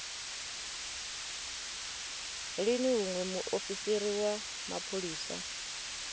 lini hune muofisi wa mapholisa